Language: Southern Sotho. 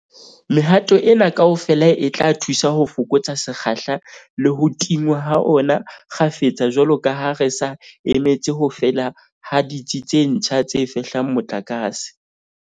Mehato ena kaofela e tla thusa ho fokotsa sekgahla le ho tingwa ha ona kgafetsa jwalo ka ha re sa emetse ho fela ha ditsi tse ntjha tse fehlang motlakase.